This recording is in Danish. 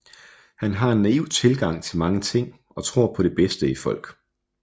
Han har en naiv tilgang til mange ting og tror på det bedste i folk